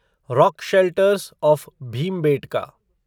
rock shelters of Bhimbetka